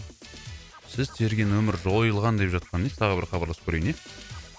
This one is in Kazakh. сіз терген нөмір жойылған деп жатқаны несі тағы бір хабарласып көрейін ия